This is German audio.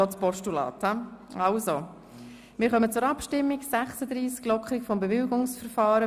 – Ich denke, wir stimmen über ein Postulat ab.